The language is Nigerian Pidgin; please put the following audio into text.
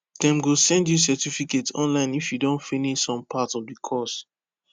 dem go send you certificate online if you don finish some part of the course